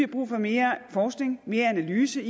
brug for mere forskning mere analyse